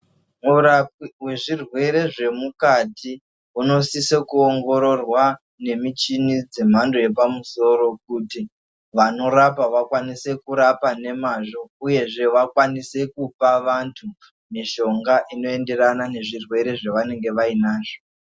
Murapwi we zvirwere zve mukati uno sise ku ongororwa ne michini dze mhando yepa musoro kuti vanorapa vakwanise kurapa ne mazvo uyezve vakwanise kupa vantu mushonga ino enderana ne zvirwere zva vainenge vainazvo.